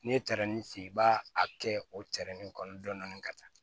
N'i ye tarani si i b'a a kɛ o tɛrɛnin kɔnɔ dɔndɔni ka taa